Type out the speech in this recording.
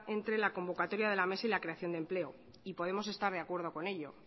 entre la convocatoria de la mesa y la creación de empleo y podemos estar de acuerdo con ello